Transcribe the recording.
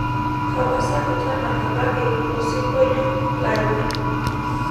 tapasali tadalakaki osingolio lanyor